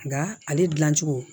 Nka ale dilan cogo